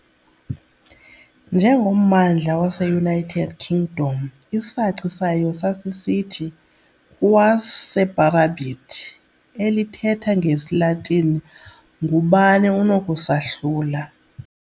Njengommandla waseUnited Kingdom, isaci sayo sasisithi "Quis separabit?", elithetha ngesiLatini "ngubani onokusahlula?"